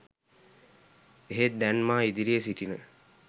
එහෙත් දැන් මා ඉදිරියේ සිටින